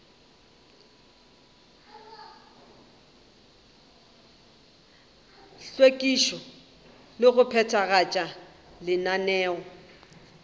hlwekišo le go phethagatša lenaneo